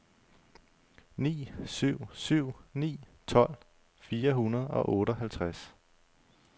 ni syv syv ni tolv fire hundrede og otteoghalvtreds